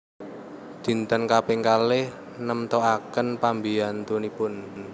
Dinten kaping kalih nemtoaken pambiyantunipun